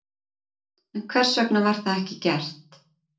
En hvers vegna var það ekki gert?